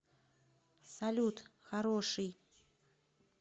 салют хороший